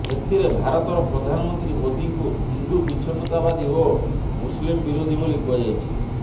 ଏଥିରେ ଭାରତର ପ୍ରଧାନମନ୍ତ୍ରୀ ମୋଦିଙ୍କୁ ହିନ୍ଦୁ ବିଚ୍ଛିନ୍ନତାବାଦୀ ଓ ମୁସଲିମ ବିରୋଧୀ ବୋଲି କୁହାଯାଇଛି